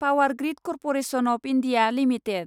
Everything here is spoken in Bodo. power grid corporation of India limited